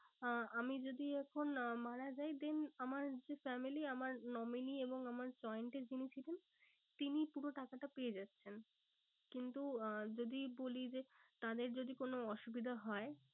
আহ আমি যদি এখন আহ মারা যাই then আমার যে family আমার nominee এবং আমার joined এ যিনি ছিলেন তিনি পুরো টাকাটা পেয়ে যাচ্ছেন। কিন্তু আহ যদি বলি যে তাদের যদি কোনো অসুবিধা হয়